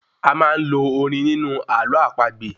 A máá ń lo orin nínú àlọ́ àpagbè